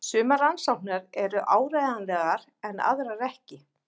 Sumar rannsóknirnar eru áreiðanlegar en aðrar ekki.